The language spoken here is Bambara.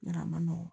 Yarɔ a ma nɔgɔn